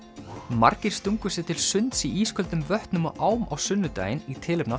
margir stungu sér til sunds í ísköldum vötnum og ám á sunnudaginn í tilefni af